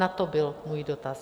Na to byl můj dotaz.